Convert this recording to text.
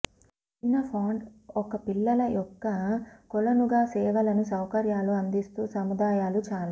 చిన్న ఫాంట్ ఒక పిల్లల యొక్క కొలను గా సేవలను సౌకర్యాలు అందిస్తూ సముదాయాలు చాలా